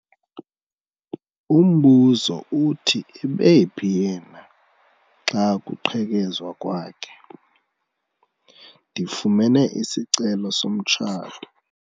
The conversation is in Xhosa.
Umbuzo uthi ebephi yena xa kuqhekezwa kwakhe? ndifumene isicelo somtshato